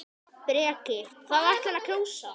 Breki: Hvað ætlarðu að kjósa?